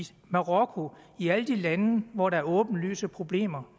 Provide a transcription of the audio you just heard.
marokko i alle de lande hvor der er åbenlyse problemer